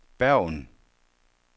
Bergen